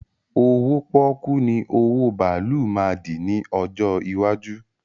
Owó pọ́ọ́kú ni owó bàálù máa dì ní ọjọ́ iwájú